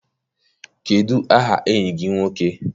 Kedụ aha enyi gị nwoke?